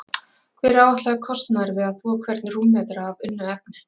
Hver er áætlaður kostnaður við að þvo hvern rúmmetra af unnu efni?